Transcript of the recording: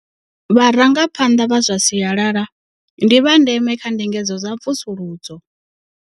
Vharangaphanḓa vha zwa sialala ndi vha ndeme kha ndingedzo dza mvusuludzo.